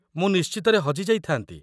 ମୁଁ ନିଶ୍ଚିତରେ ହଜି ଯାଇଥାନ୍ତି